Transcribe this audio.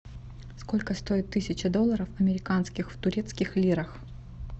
сколько стоит тысяча долларов американских в турецких лирах